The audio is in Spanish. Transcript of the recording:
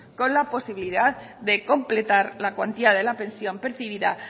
con la posibilidad de completar la cuantía de la pensión percibida